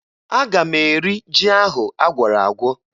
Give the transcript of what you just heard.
Aga m eri ji ahụ agwọrọ agwọ